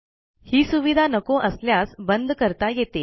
ही सुविधा नको असल्यास बंद करता येते